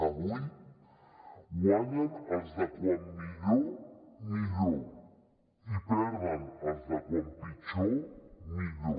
avui guanyen els de com millor millor i perden els de com pitjor millor